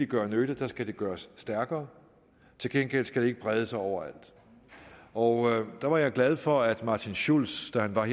gøre nytte skal det gøres stærkere til gengæld skal det ikke brede sig overalt og der var jeg glad for at martin schulz da han var